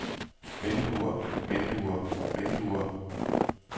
vinduer vinduer vinduer